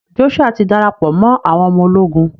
Joshua ti darapọ mọ àwọn ọmọ ológun